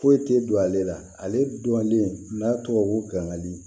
Foyi tɛ don ale la ale dɔnnen n'a tɔgɔ ko gangani